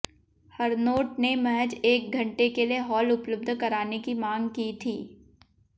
हरनोट ने महज एक घंटे के लिए हॉल उपलब्ध कराने की मांग की थी